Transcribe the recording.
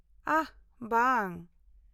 -ᱟᱦ, ᱵᱟᱝ᱾